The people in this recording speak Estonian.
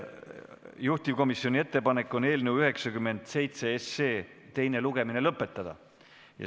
Juhtivkomisjoni ettepanek on eelnõu 97 teine lugemine lõpetada.